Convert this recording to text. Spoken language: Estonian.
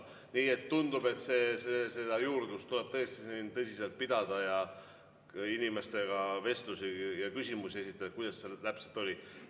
Nii et tundub, et seda juurdlust tuleb tõesti siin tõsiselt pidada, inimestega vestelda ja küsimusi esitada, et teada saada, kuidas sellega täpselt oli.